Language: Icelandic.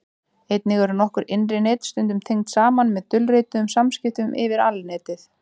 einnig eru nokkur innri net stundum tengd saman með dulrituðum samskiptum yfir alnetið